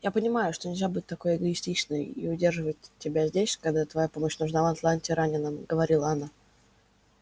я понимаю что нельзя быть такой эгоистичной и удерживать тебя здесь когда твоя помощь нужна в атланте раненым говорила она